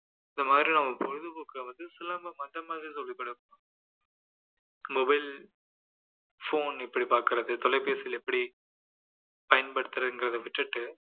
இந்த மாதிரி அவங்க பொழுதுபோக்கை வந்து சிலம்பம் அந்த மாதிரி mobile phone எப்படி பார்க்கிறது தொலைபேசியில எப்படி பயன்படுத்துறதுங்கிறதை விட்டுட்டு